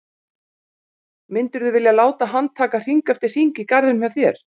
Myndirðu vilja láta hann taka hring eftir hring í garðinum hjá þér?